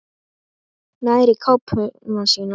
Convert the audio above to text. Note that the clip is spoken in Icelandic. Nær í kápuna sína.